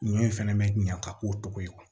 Ɲɔ in fɛnɛ bɛ ɲa ka k'o tɔgɔ ye